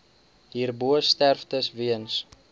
hierbo sterftes weens